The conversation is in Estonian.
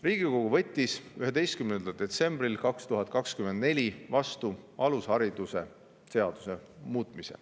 Riigikogu võttis 11. detsembril 2024 vastu alusharidusseaduse.